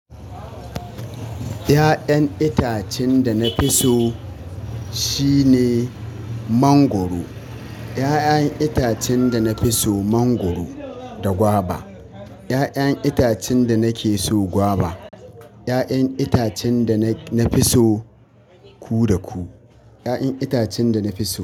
Ya'yan itacen da na fi so shine mangwaro. Ya'yan itacen da na fi so mangwaro da gwaba. Ya'yan itacen da na ke so gwaba. Ya'yan itacen da na fi so ku da ku. Ya'yan itacen da na fi so.